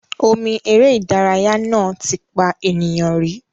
Omi eré ìdárayá náà ti pa ènìyàn rí.